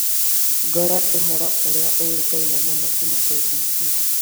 ngore ũhoro ũrĩa ũĩkaine mũno kuuma KBC